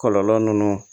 Kɔlɔlɔ ninnu